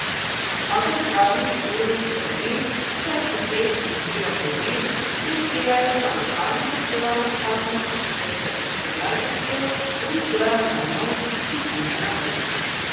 Kakor pravi Uroš Štefelin, kuharski šef iz Vile Podvin, prisegajo na lokalno pridelano hrano, ki jo z ustvarjalnostjo oblikujejo na nov, izviren način.